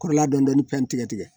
Kɔrɔla dɔɔnin dɔɔnini tigɛtigɛ